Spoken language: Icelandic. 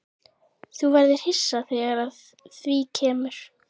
Þú verður hissa þegar að því kemur.